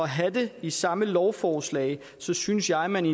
have det i samme lovforslag synes synes jeg man